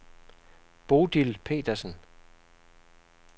Bodil Petersen